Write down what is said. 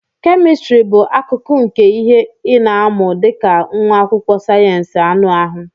Chemistry bụ akụkụ nke ihe ị na-amụ dị ka nwa akwụkwọ sayensị anụ ahụ.